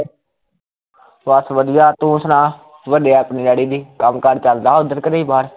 ਬਸ ਵਧੀਆ ਤੂ ਸੁਣਾ, ਵੱਡੇ ਆਪਣੇ ਡੈਡੀ ਦੀ ਕੰਮ ਕਾਰ ਚੱਲਦਾ ਉੱਧਰ ਕਿ ਨਹੀਂ ਬਾਹਰ